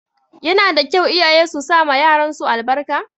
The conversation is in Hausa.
Yana da kyau iyaye su sama yaran su albarka